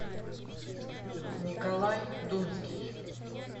николай думский